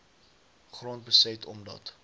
grond beset omdat